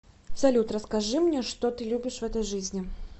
салют расскажи мне что ты любишь в этой жизни